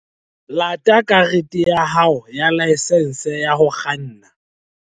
Lata karete ya hao ya laesense ya ho kganna